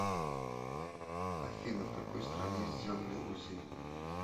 афина в какой стране сделали узи